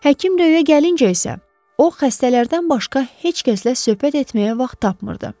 Həkim Röyə gəlinci isə, o xəstələrdən başqa heç kəslə söhbət etməyə vaxt tapmırdı.